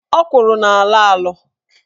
Ọkwụrụ na-alọ alọ.